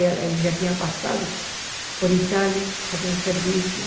Ele ele já tinha passado por Itália, fazendo serviço.